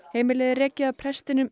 heimilið er rekið af prestinum